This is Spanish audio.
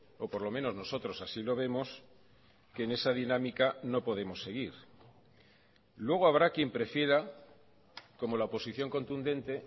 o por lo menos nosotros así lo vemos que en esa dinámica no podemos seguir luego habrá quien prefiera como la oposición contundente